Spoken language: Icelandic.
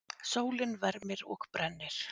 Sólin vermir og brennir.